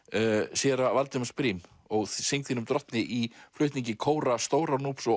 séra Valdimars Briem ó syng þínum drottni í flutningi kóra Stóra